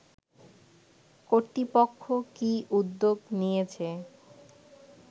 কর্তৃপক্ষ কি উদ্যোগ নিয়েছে